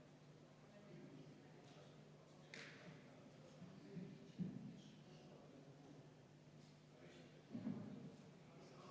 Palun võtta seisukoht ja hääletada!